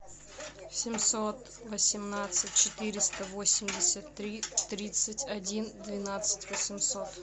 семьсот восемнадцать четыреста восемьдесят три тридцать один двенадцать восемьсот